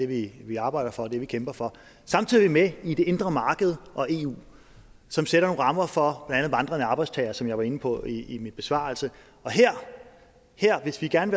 det vi arbejder for er det vi kæmper for samtidig er vi med i det indre marked og eu som sætter nogle rammer for andet vandrende arbejdstagere som jeg var inde på i min besvarelse og hvis vi gerne